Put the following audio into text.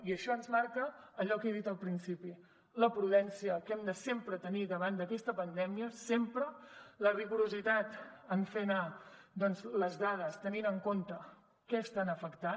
i això ens marca allò que he dit al principi la prudència que hem de sempre tenir davant d’aquesta pandèmia sempre la rigorositat en fer anar les dades tenint en compte què estan afectant